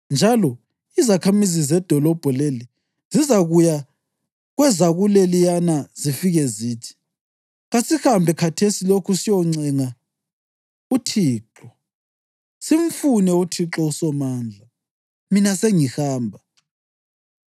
njalo izakhamizi zedolobho leli zizakuya kwezakuleliyana zifike zithi, ‘Kasihambe khathesi lokhu siyoncenga uThixo, simfune uThixo uSomandla. Mina sengihamba.’